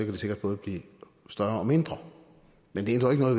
det sikkert både blive større og mindre men det ændrer jo